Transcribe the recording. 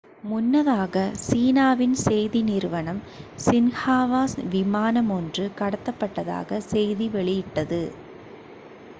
முன்னதாக சீனாவின் செய்தி நிறுவனம் சின்ஹுவா விமானம் ஒன்று கடத்தப்பட்டதாக செய்தி வெளியிட்டது